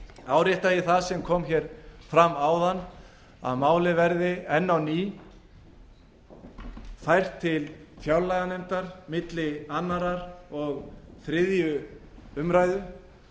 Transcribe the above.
árétta ég það sem kom hér fram áðan að málið verði enn á ný fært til fjárlaganefndar milli annars og þriðju umræðu